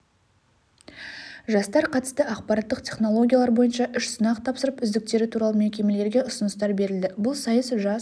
жастар қатысты ақпараттық-технологиялар бойынша үш сынақ тапсырып үздіктері туралы мекемелерге ұсыныстар берілді бұл сайыс жас